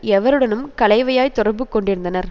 எவருடனும் கலைவையாய் தொடர்பு கொண்டிருந்தனர்